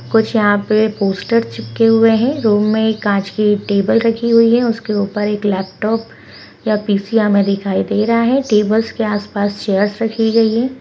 कुछ यहाँ पे पोस्टर चिपके हुए हैं रूम मे काँच की एक टेबल रखी हुई है उसके ऊपर एक लैपटाप या पी.सी. हमे दिखाई दे रहा है टेबल्स के आस-पास चेयर्स रखी गयी है।